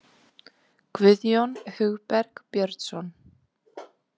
Guðjón Hugberg Björnsson.